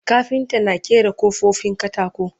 kafinta na ƙera kofofin katako